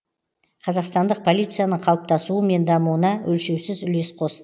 қазақстандық полицияның қалыптасуы мен дамуына өлшеусіз үлес қос